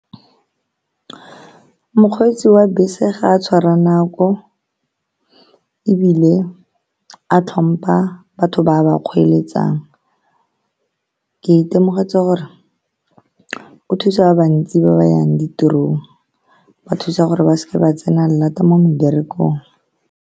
Mokgweetsi wa bese ga a tshwara nako, ebile a tlhompha batho ba a ba kgweeletsang. Ke itemogetse gore o thusa ba bantsi ba ba yang ditirong, ba thusa gore ba se ke ba tsena lata mo meberekong.